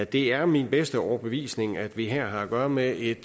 det er min bedste overbevisning at vi her har at gøre med et